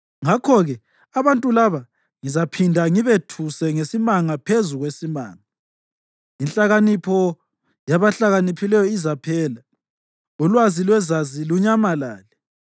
Ngakho-ke abantu laba ngizaphinda ngibethuse ngesimanga phezu kwesimanga; inhlakanipho yabahlakaniphileyo izaphela, ulwazi lwezazi lunyamalale.”